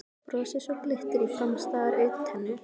Brosi svo glittir í framstæðar augntennur.